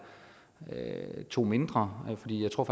to mindre jeg tror